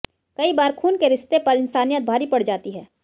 कई बार खून के रिश्ते पर इंसानियत भारी पड़ जाती है